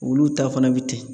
Wulu ta fana bi ten.